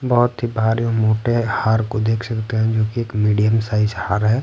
बहुत ही भारी मोटे हार को देख सकते हैं जो कि एक मीडियम साइज हार है।